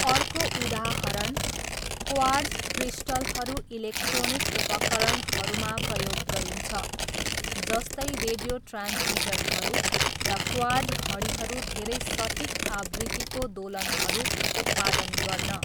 अर्को उदाहरण क्वार्ट्ज क्रिस्टलहरू इलेक्ट्रोनिक उपकरणहरूमा प्रयोग गरिन्छ जस्तै रेडियो ट्रान्समिटरहरू र क्वार्ट्ज घडीहरू धेरै सटीक आवृत्तिको दोलनहरू उत्पादन गर्न।